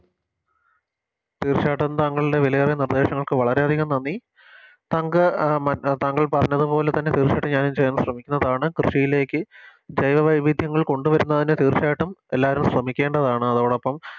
തീർച്ചയായിട്ടും താങ്കളുടെ വിലയേറിയ നിർദേശങ്ങൾക്ക് വളരെയധികം നന്ദി താങ്കൾ ആഹ് മ താങ്കൾ പറഞ്ഞത് പോലെ തന്നെ തീർച്ചയായിട്ടും ഞാനും ചെയ്യാൻ ശ്രമിക്കുന്നതാണ് കൃഷിയിലേക്ക് ജൈവവൈവിധ്യങ്ങൾ കൊണ്ടുവരുന്നതിന് തീർച്ചയായിട്ടും എല്ലാവരും ശ്രമിക്കേണ്ടതാണ് അതോടൊപ്പം